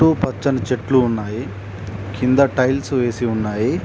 పచ్చని చెట్లు ఉన్నాయి కింద టైల్స్ వేసి ఉన్నాయి.